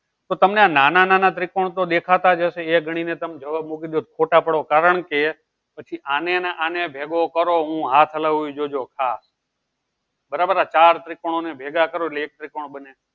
તો તમને આં નાના નાના ત્રિકોણ તો દેખાતાજ હશે એ ગણીને તમે જવાબ મૂકી તો ખોટા પડો દો કારણ કે પછી આને ને આને ભેગો કરો હું હાથ હલાવી એ જોજો આ બરાબર આ ચાર ત્રિકોણ ને ભેગા કરો એટલે એક ત્રિકોણ બને